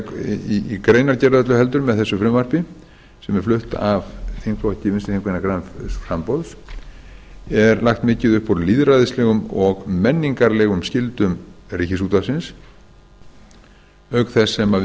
þingkosninga í greinargerð með þessu frumvarpi sem er flutt af þingflokki vinstri hreyfingarinnar græns framboðs er lagt mikið upp úr lýðræðislegum og menningarlegum skyldum ríkisútvarpsins auk þess sem við